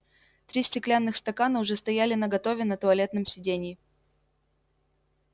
три стеклянных стакана уже стояли наготове на туалетном сиденье